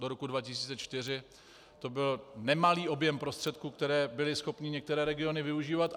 Do roku 2004 to byl nemalý objem prostředků, které byly schopny některé regiony využívat.